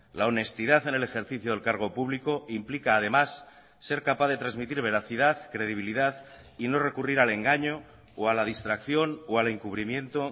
la honestidad en el ejercicio del cargo público implica además ser capaz de transmitir veracidad credibilidad y no recurrir al engaño o a la distracción o al encubrimiento